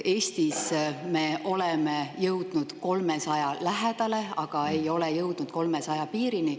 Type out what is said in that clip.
Eestis me oleme jõudnud 300 lähedale, aga ei ole jõudnud 300 piirini.